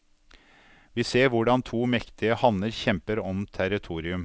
Vi ser hvordan to mektige hanner kjemper om territorium.